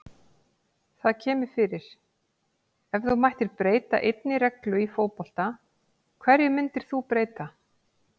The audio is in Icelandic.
Það kemur fyrir Ef þú mættir breyta einni reglu í fótbolta, hverju myndir þú breyta?